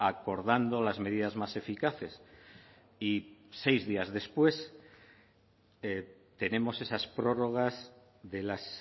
acordando las medidas más eficaces y seis días después tenemos esas prórrogas de las